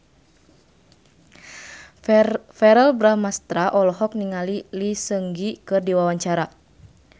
Verrell Bramastra olohok ningali Lee Seung Gi keur diwawancara